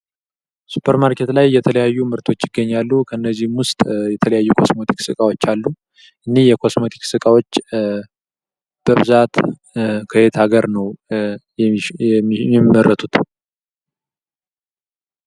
ሱፐር ማርኬት ውስጥ የተለያዩ ምርቶች ይገኛሉ። ከነዚህም ውስጥ የተለያዩ የኮስሞቲክስ እቃዎች አሉ። እኒህ የኮስሞቲክስ እቃዎች በብዛት ከየት ሀገር ነው? የሚመረቱት።